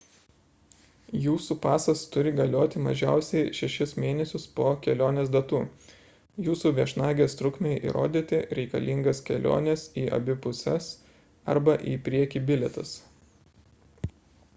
jūsų pasas turi galioti mažiausiai 6 mėnesius po kelionės datų jūsų viešnagės trukmei įrodyti reikalingas kelionės į abi puses arba į priekį bilietas